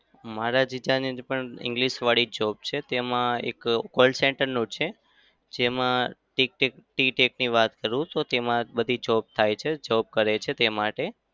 મારા જીજાજીને પણ english વાળી જ job છે. તેમાં એક call center નું જ છે. જેમાં વાત કરું તો તેમાં બધી job થાય છે. job કરે છે તે માટે.